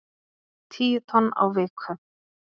Tíu tonn á viku